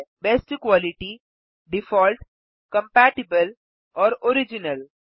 best quality default compatible और original